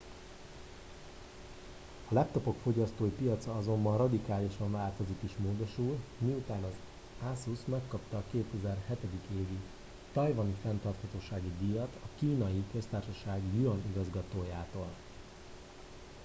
a laptopok fogyasztói piaca azonban radikálisan változik és módosul miután az asus megkapta a 2007. évi tajvani fenntarthatósági díjat a kínai köztársaság yuan igazgatójától